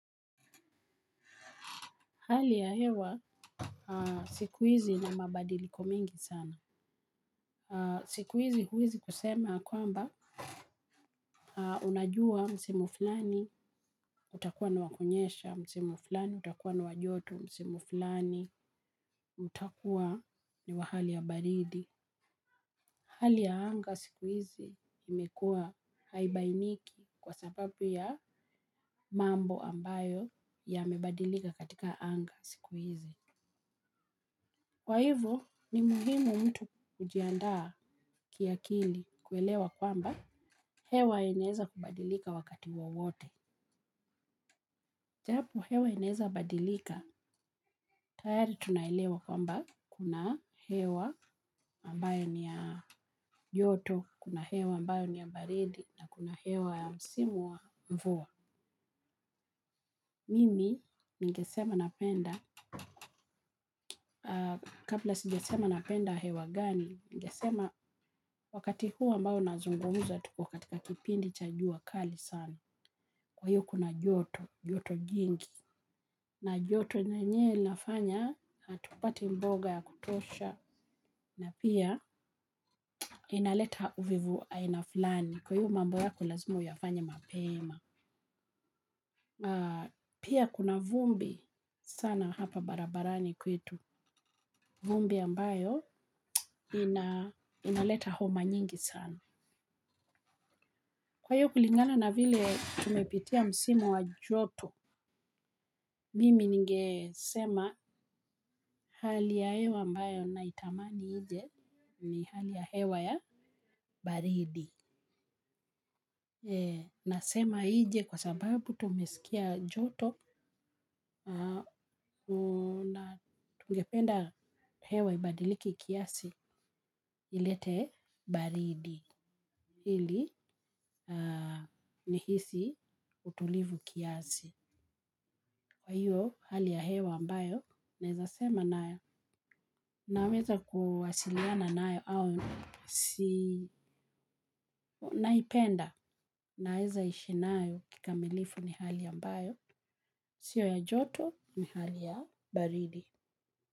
Hali ya hewa aah siku hizi ina mabadiliko mingi sana. Aah. Siku hizi huwezi kusema ya kwamba unajua msimu fulani utakuwa ni wakunyesha, msimu fulani utakuwa ni wajoto, msimu fulani utakuwa ni wahali ya baridi. Hali ya anga siku hizi imekuwa haibainiki kwa sababu ya mambo ambayo ya mebadilika katika anga siku hizi. Kwa hivo, ni muhimu mtu kujiandaa kiakili kuelewa kwamba hewa inaweza kubadilika wakati wowote. Japo hewa inaweza badilika, tayari tunaelewa kwamba kuna hewa ambayo ni ya yoto, kuna hewa ambayo ni ya baridi, na kuna hewa ya msimu wa mvua. Mimi, ningesema napenda, kabla sijasema napenda hewa gani? Ningesema wakati huu ambayo nazungumuza tuko katika kipindi chajua kali sana. Kwa hiyo kuna joto, joto jingi. Na joto nenyewe inafanya hatupati mboga ya kutosha na pia inaleta uvivu ainafulani. Kwa hivyo mambo yako lazima uyafanye mapema. Pia kuna vumbi sana hapa barabarani kwetu. Vumbi ambayo inaleta homa nyingi sana. Kwa hiyo kulingana na vile tumepitia msimu wa joto mimi ningesema hali ya hewa ambayo naitamani nje ni hali ya hewa ya baridi. Nasema nje kwa sababu tumesikia joto, ningependa hewa ibadilike kiasi ilete baridi. Ili aa ni hisi utulivu kiasi. Kwa hiyo, hali ya hewa ambayo, naweza sema na, naweza kuwasiliana nayo au si naipenda. Naweza ishi nayo kikamilifu ni hali ambayo. Sio ya joto, ni hali ya baridi.